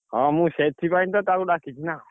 ହଁ ମୁଁ ସେଥିପାଇଁ ତ ତାକୁ ଡାକିଛି ନା।